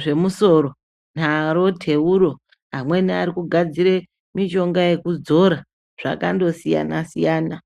zvemusoro naro teuro. Amweni arikugadzire mishonga yekudzora, zvakandosiyana-siyana.